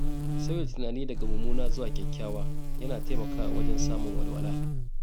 Sauya tunani daga mummuna zuwa kyakkyawa yana taimakawa wajen samun walwala.